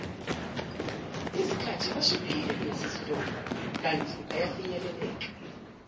izikhathibashibhile kunasezitolo kantibafinyeleleka